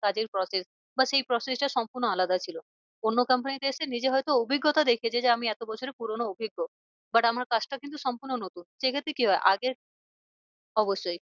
কাজের process বা সেই process টা সম্পূর্ণ আলাদা ছিল। অন্য company test এ নিজে হয় তো অভিজ্ঞতা দেখিয়েছে যে আমি যে আমি এতো বছরে পুরোনো অভিজ্ঞ but আমার কাজটা কিন্তু সম্পূর্ণ নতুন সেই ক্ষেত্রে কি হয় আগে অবশ্যই